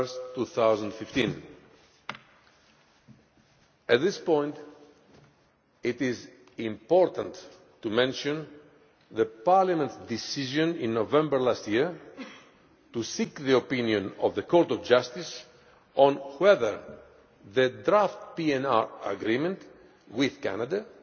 2015. At this point it is important to mention Parliament's decision in November last year to seek the opinion of the Court of Justice on whether the draft PNR agreement with Canada